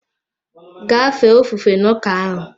Gaa ife ofufe n'ụka ahụ!